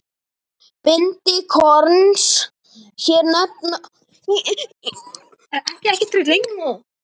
Bindi korns hér nefna má.